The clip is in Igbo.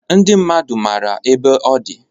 Ndị mmadu mara ebe ọdi.